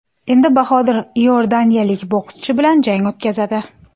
Endi Bahodir iordaniyalik bokschi bilan jang o‘tkazadi.